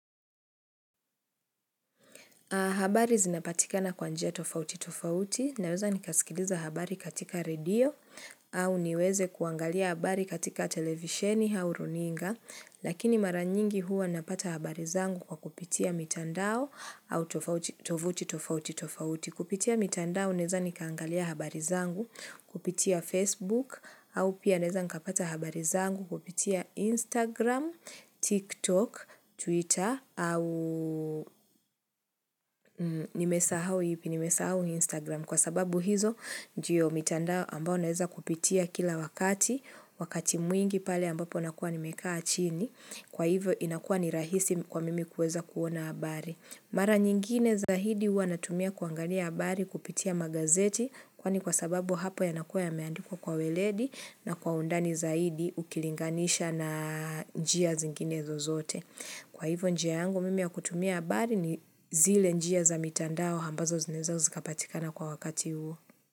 Habari zinapatika na kwa njia tofauti tofauti, naweza nikaskiliza habari katika radio au niweze kuangalia habari katika televisheni hau runinga, lakini mara nyingi huwa napata habari zangu kwa kupitia mitandao au tofauti tofauti tofauti. Kupitia mitandao naeza nikaangalia habari zangu, kupitia Facebook, au pia naeza nikapata habari zangu, kupitia Instagram, TikTok, Twitter, au nimesahau ipi, nimesahau Instagram. Kwa sababu hizo, ndio mitanda ambao naeza kupitia kila wakati, wakati mwingi pale ambapo nakua nimekaa chini, kwa hivyo inakua ni rahisi kwa mimi kueza kuona habari. Mara nyingine za hidi huwana tumia kuangalia habari kupitia magazeti kwa ni kwa sababu hapo yanakua ya meandikwa kwa weledi na kwa undani za hidi ukilinganisha na njia zingine zozote. Kwa hivyo njia yangu mimi ya kutumia habari ni zile njia za mitandao hambazo zinaeza zikapatikana kwa wakati huo.